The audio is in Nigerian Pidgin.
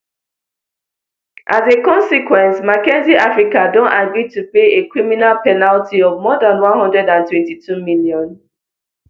as a consequence mckinsey africa don agree to pay a criminal penalty of more dan one hundred and twenty-two million